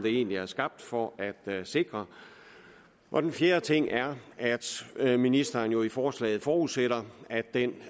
egentlig er skabt for at sikre og den fjerde ting er at ministeren jo i forslaget forudsætter at den